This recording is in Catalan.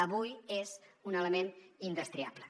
avui és un element indestriable